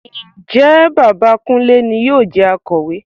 Ǹjẹ́ bàbá Kúnlé ni yóò jẹ Akọ̀wé?